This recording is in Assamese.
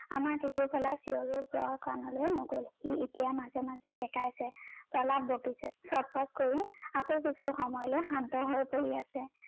আমাৰ টেতু ফলা চিঞৰো প্ৰৰ কাণলৈ নগলে সি এতিয়া মাজে মাজে কেকাইছে, প্ৰলাপ বকিছে, চত চত কৰি আকৌ কিছু সময়লৈ শান্ত হৈ পৰি আছে।